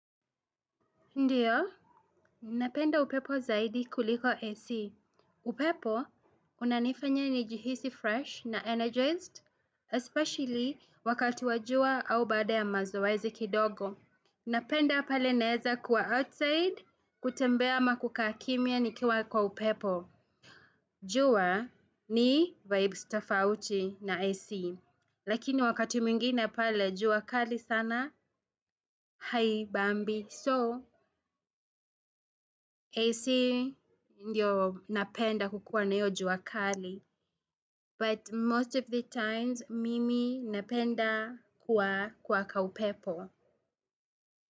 Ndiyo, napenda upepo zaidi kuliko AC. Upepo, unanifanya nijihisi fresh na energized, especially wakati wa jua au baada ya mazoezi kidogo. Napenda pale naeza kuwa outside, kutembea ama kukaa kimya nikiwa kwa upepo. Jua ni vibes tafauti na AC. Lakini wakati mwingine pale, jua kali sana, haibambi. So, AC indio napenda kukiwa na hio jua kali. But most of the times, mimi napenda kuwa kwa kaupepo.